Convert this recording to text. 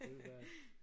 Det ville være